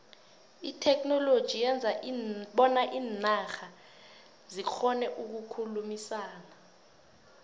itheknoloji yenza bona iinarha zikgone ukukhulumisana